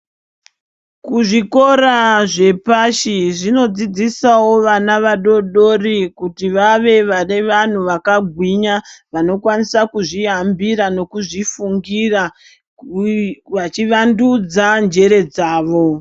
Kuzvikora zvepashi zvinodzidzisawo vana vadoodori kuti ave vanhu vakagwinya vanokwanisa kuzvihambira nekuzvifungira vachivandudza njere dzavo.